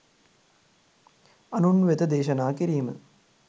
අනුන් වෙත දේශනා කිරීම